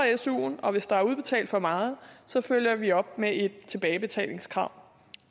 suen og hvis der er udbetalt for meget så følger vi op med et tilbagebetalingskrav